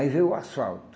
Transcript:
Aí veio o asfalto.